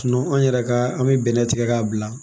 an yɛrɛ ka an bi bɛnɛ tigɛ k'a bila